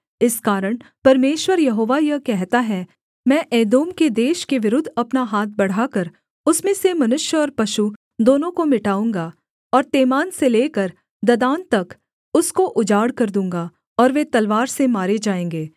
इस कारण परमेश्वर यहोवा यह कहता है मैं एदोम के देश के विरुद्ध अपना हाथ बढ़ाकर उसमें से मनुष्य और पशु दोनों को मिटाऊँगा और तेमान से लेकर ददान तक उसको उजाड़ कर दूँगा और वे तलवार से मारे जाएँगे